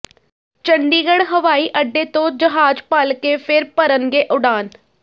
ਚੰਡੀਗੜ੍ਹ ਹਵਾਈ ਅੱਡੇ ਤੋਂ ਜਹਾਜ਼ ਭਲਕੇ ਫਿਰ ਭਰਨਗੇ ਉਡਾਣ